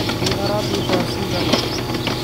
Nĩ arathiĩ thaa cigana